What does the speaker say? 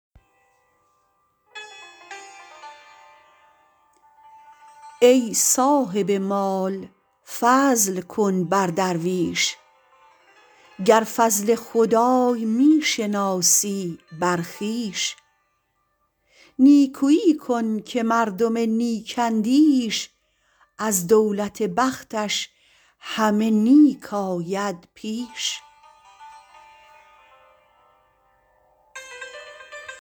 ای صاحب مال فضل کن بر درویش گر فضل خدای می شناسی بر خویش نیکویی کن که مردم نیک اندیش از دولت بختش همه نیک آید پیش